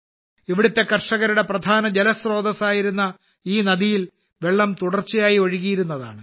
ഇവിടുത്തെ കർഷകരുടെ പ്രധാന ജലസ്രോതസ്സ് ആയിരുന്ന ഈ നദിയിൽ വെള്ളം തുടർച്ചയായി ഒഴുകിയിരുന്നതാണ്